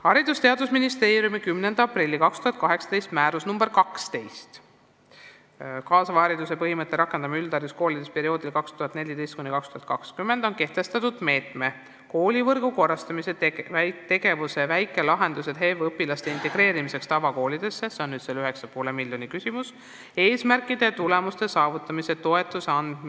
Haridus- ja Teadusministeeriumi 10. aprilli 2018 määruses nr 12 "Kaasava hariduse põhimõtete rakendamine üldhariduskoolides perioodil 2014–2020" on kehtestatud meetme "Koolivõrgu korrastamine" tegevuse "Väikelahendused HEV õpilaste integreerimiseks tavakoolidesse" eesmärkide ja tulemuste saavutamiseks toetuse andmise ning selle kasutamise tingimused ja kord.